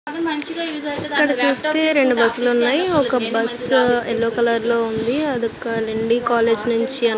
ఇక్కడ చూస్తే రెండు బస్సు లు వున్నాయ్. ఒక బస్సు యెల్లో కలర్ లో ఉంది. అది ఒక లండి కాలేజీ నుంచి --